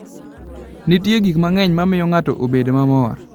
Nitie gik mang'eny ma miyo ng'ato bedo mamor.